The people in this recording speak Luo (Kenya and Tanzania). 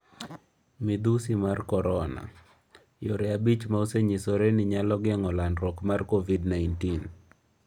Midhusi mar Korona: Yore abich ma osenyisore ni nyalo geng'o landruok mar Covid-19